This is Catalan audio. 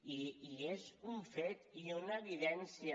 i és un fet i una evidència